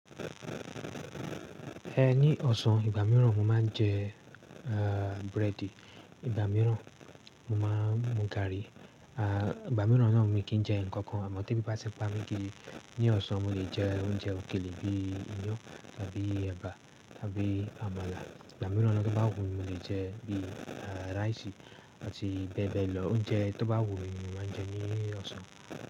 Eh, ní ọ̀sán, ìgbà mìíràn mo máa ń jẹ ah bread, ìgbà mìíràn mo máa ń mú garri. Ah ìgbà mìíràn ni wọ́n ni kí n jẹ ǹkan kan, àmọ́ tí bí bá ti bá mi kí ní ọ̀sán mo lè jẹ oúnjẹ òkèlè bí i iyọ̀ tàbí ẹba tàbí àmàlà. Ìgbà mìíràn lọ́jọ́ to bá wù mí mo lè jẹ bí i ah rice àti bẹ́ẹ̀ bẹ́ẹ̀ lọ. Oúnjẹ tó bá wù mí mo máa ń jẹ ní ọ̀sán.